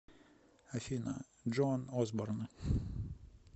афина джоан осборн